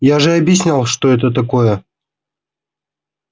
я же объяснял что это такое